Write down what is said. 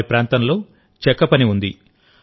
వారి ప్రాంతంలో చెక్క పని ఉంది